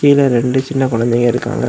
கீழ ரெண்டு சின்ன குழந்தங்க இருக்காங்க.